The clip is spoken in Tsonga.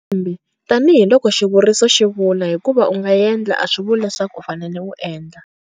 Kambe tanihi loko xivuriso xi vula, hikuva u nga endla, a swi vuli leswaku u fanele u endla.